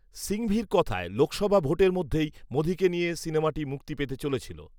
সিঙঘভির কথায়, ‘‘লোকসভা ভোটের মধ্যেই মোদীকে নিয়ে সিনেমাটি মুক্তি পেতে চলেছিল